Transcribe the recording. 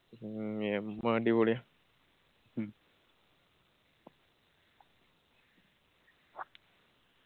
മ്മ് യെമ്മ അടിപൊളിയാ